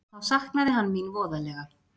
Þá saknaði hann mín voðalega.